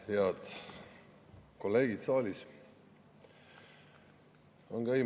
Head kolleegid saalis!